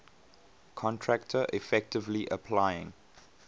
contractor effectively applying